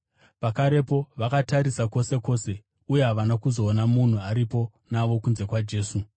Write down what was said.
Pakarepo, vakatarisa kwose kwose, uye havana kuzoona munhu aripo navo kunze kwaJesu.